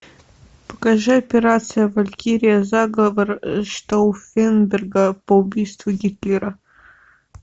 покажи операция валькирия заговор штауффенберга по убийству гитлера